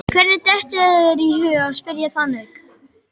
Hvernig dettur þér í hug að spyrja þannig?